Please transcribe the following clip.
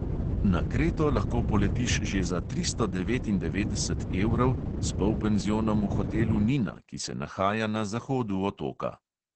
Na kreto lahko poletiš že za tristo devetindevetdeset evrov s polpenzionom v hotelu nina, ki se nahaja na zahodu otoka.